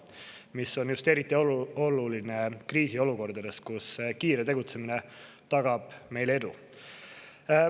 See on eriti oluline kriisiolukordades, kus kiire tegutsemine tagab meile edu.